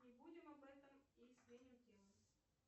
не будем об этом и сменим тему